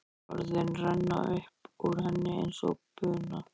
Orðin renna upp úr henni eins og buna.